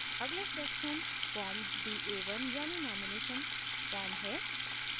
अगला section form da1 यानि nomination नामांकन फॉर्म है